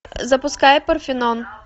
запускай парфенон